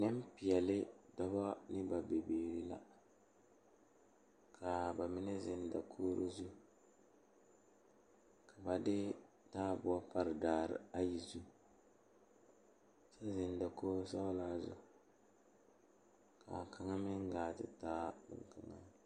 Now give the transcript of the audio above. Nenpeɛle la zeŋ die kaŋa poɔ a eŋ nyɛboɔre bontuure ka bamine su kpare sɔglɔ ka bamine su kpare peɛle ka bamine su kpare ziiri ka bamine zeŋ ka bamine are ka bamine teɛ ba nu kyɛ ka bamine ba teɛ.